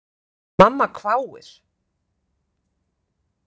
Mamma hváir.